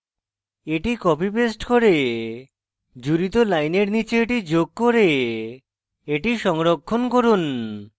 এটি copy paste করে জুড়িত লাইনের নীচে এটি যোগ করে এটি সংরক্ষণ করুন